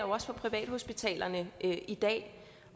også for privathospitalerne i dag